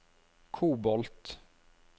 kobolt